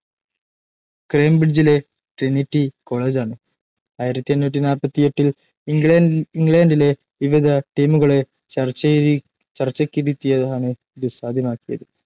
കേംബ്രിഡ്ജിലെ Trinity കോളജാണ്‌. ആയിരത്തി എണ്ണൂറ്റി നാല്പത്തിയെട്ടിൽ ഇംഗ്ലണ്ടിലെ വിവിധ ടീമുകളെ ചർച്ചയ്ക്കിരുത്തിയാണ്‌ ഇതു സാധ്യമാക്കിയത്‌.